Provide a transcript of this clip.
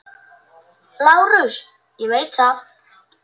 LÁRUS: Ég veit það.